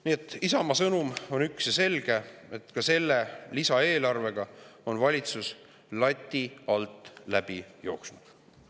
Nii et Isamaa sõnum on üks ja selge: ka selle lisaeelarvega on valitsus lati alt läbi jooksnud.